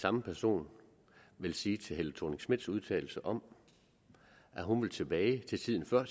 samme person vil sige til fru helle thorning schmidts udtalelser om at hun vil tilbage til tiden før